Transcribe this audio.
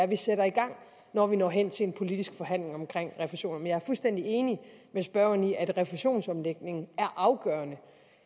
vi sætter i gang når vi når hen til en politisk forhandling om refusionerne men jeg er fuldstændig enig med spørgeren i at refusionsomlægningen er afgørende